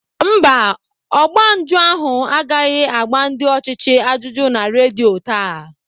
Mba, ọgba njụ ahụ agaghị agba ndị ọchịchị ajụjụ na redio taa.